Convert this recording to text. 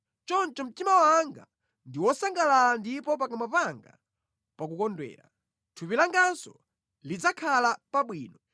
Choncho mtima wanga ndi wosangalala ndipo pakamwa panga pakukondwera; thupi langanso lidzakhala pabwino,